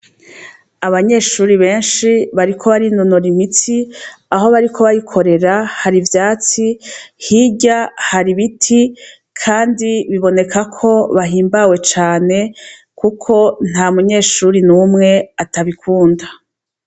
Abanyeshure benshi bariko barinonora imitsi, aho bariko bayikorera hari ivyatsi, hirya hari ibiti kandi biboneka ko bahimbawe cane, kuko nta munyeshure n'umwe atabikunda.